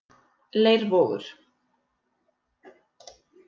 Leirvogur